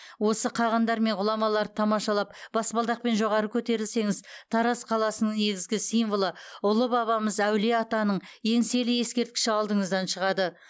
осы қағандар мен ғұламаларды тамашалап баспалдақпен жоғары көтерілсеңіз тараз қаласының негізгі символы ұлы бабамыз әулие атаның еңселі ескерткіші алдыңыздан шығады